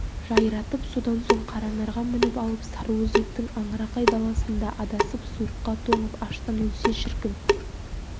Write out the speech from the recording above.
жайратып содан соң қаранарға мініп алып сарыөзектің аңырақай даласында адасып суыққа тоңып аштан өлсе шіркін